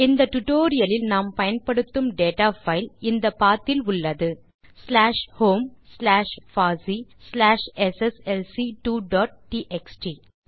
இந்த டியூட்டோரியல் லில் நாம் பயன்படுத்தப்போகும் டேட்டா பைல் இந்த பத் இல் உள்ளது ஸ்லாஷ் ஹோம் ஸ்லாஷ் பாசி ஸ்லாஷ் எஸ்எஸ்எல்சி2 டாட் டிஎக்ஸ்டி